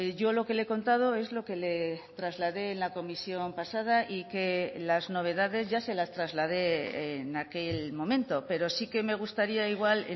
yo lo que le he contado es lo que le trasladé en la comisión pasada y que las novedades ya se las trasladé en aquel momento pero sí que me gustaría igual